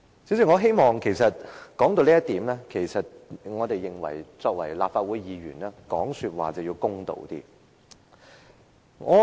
主席，說到這一點，我認為我們作為立法會議員，說話要公道一些。